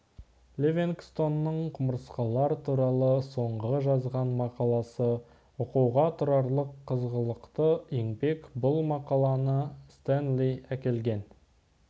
ливингстонның құмырсқалар туралы соңғы жазған мақаласы оқуға тұрарлық қызғылықты еңбек бұл мақаланы стенли әкелген